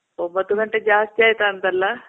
ಒಂಬತ್ ಗಂಟೆ ಜಾಸ್ತಿ ಆಯ್ತಾ ಅಂತಲ್ಲ?